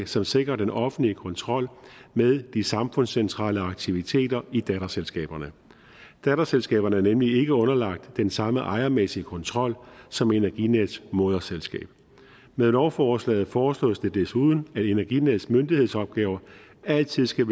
som sikrer den offentlige kontrol med de samfundscentrale aktiviteter i datterselskaberne datterselskaberne er nemlig ikke underlagt den samme ejermæssige kontrol som energinets moderselskab med lovforslaget foreslås det desuden at energinets myndighedsopgaver altid skal